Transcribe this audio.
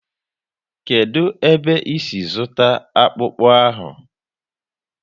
Kedụ ebe e si zụta akpụkpu ahụ?